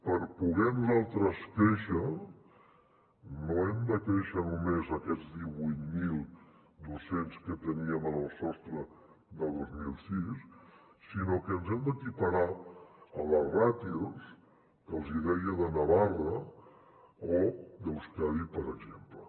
per poder nosaltres créixer no hem de créixer només aquests divuit mil dos cents que teníem en el sostre de dos mil sis sinó que ens hem d’equiparar a les ràtios que els deia de navarra o d’euskadi per exemple